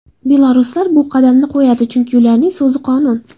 Belaruslar bu qadamni qo‘yadi, chunki ularning so‘zi qonun.